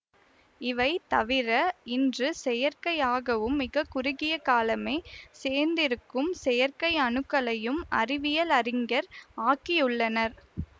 இவை தவிர இன்று செயற்கையாகவும் மிக குறுகிய காலமே சேர்ந்திருக்கும் செயற்கை அணுக்களையும் அறிவியல் அறிஞர் ஆக்கியுள்ளனர்